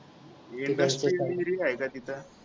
industrial area आहे का तिथं